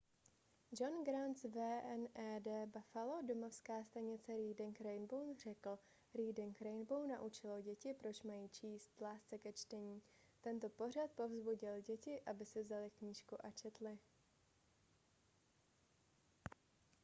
john grant z wned buffalo domovská stanice reading rainbow řekl: reading rainbow naučilo děti proč mají číst... lásce ke čtení — [tento pořad] povzbudil děti aby si vzaly knížku a četly.